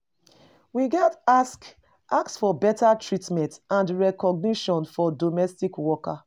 We gats ask ask for beta treatment and recognition for domestic workers.